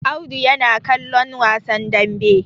Audu yana ƙallon wasan dambe